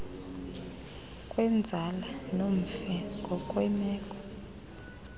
kwenzala nomfi ngokwemeko